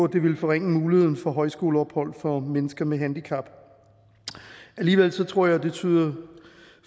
det ville forringe muligheden for højskoleophold for mennesker med handicap alligevel tror jeg og det tyder